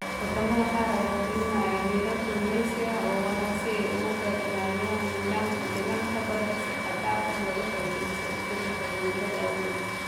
Wadamada qaar ayaa fulinaya xeerar kalluumaysi oo waara si ay uga ilaaliyaan nidaamka deegaanka badda si xad dhaaf ah looga faa'iidaysto isbedelka cimilada awgeed.